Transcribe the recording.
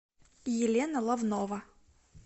елена лавнова